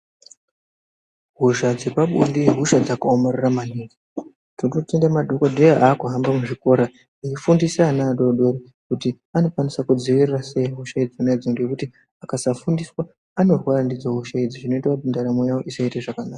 Hosha dzepabonde ihosha dzakaomarara maningi. tinotenda madhogodheya akuhamba muzvikora achifundisa ana adodori kuti anokwanisa kudzivirira sei hosha idzona idzi. Ngekuti akasa fundiswa anorwara ndidzo hosha idzi zvioita kuti ndaramo yavo isaite zvakanaka.